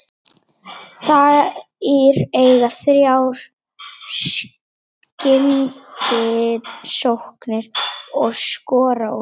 Þær eiga þrjár skyndisóknir og skora úr þeim.